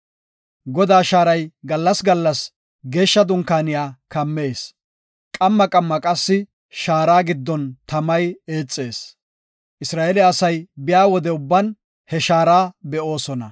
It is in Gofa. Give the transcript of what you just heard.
Godaa shaaray gallas gallas Geeshsha Dunkaaniya kammees, qamma qamma qassi shaara giddon tamay eexees. Isra7eele asay biya wode ubban he shaara be7oosona.